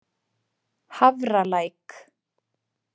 Hafralæk